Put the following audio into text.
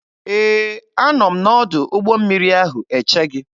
Ee, a nọ m n'ọdụ ụgbọ mmiri ahụ eche gị.